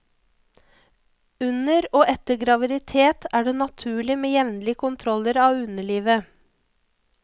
Under og etter graviditet er det naturlig med jevnlig kontroller av underlivet.